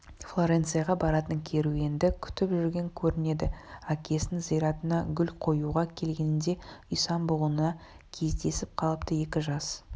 флоренцияға баратын керуенді күтіп жүрген көрінеді әкесінің зиратына гүл қоюға келгенінде исан-бұғыға кездесіп қалыпты екі жас